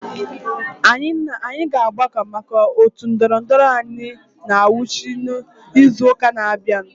Anyị ga-agbakọ maka otu ndorondoro anyị na ngwụcha izu ụka na-abịa.